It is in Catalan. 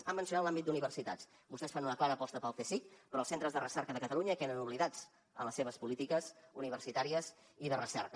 ha mencionat l’àmbit d’universitats vostès fan una clara aposta pel csic però els centres de recerca de catalunya queden oblidats en les seves polítiques universitàries i de recerca